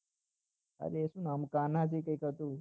અરે શું નામ કાન્હા કે કઈક હતું